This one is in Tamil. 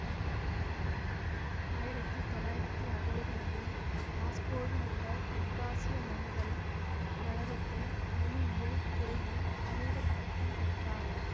ஆயிரத்தி தொள்ளாயிரத்தி அறுவதுகளில் மாஸ்கோவிலுள்ள தெற்காசிய மொழிகள் கழகத்தில் மொழியியல் துறையில் முனைவர் பட்டம் பெற்றார்